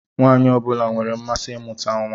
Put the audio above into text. Nwaanyị ọ bụla nwere mmasị imuta nwa.